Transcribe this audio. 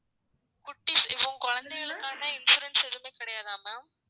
குட்டிஸ் இப்போ குழந்தைகளுக்கான insurance எதுவுமே கிடையாதா ma'am